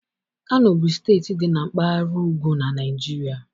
Kano bụ steeti dị na Mpaghara ugwu na Naịjirịa.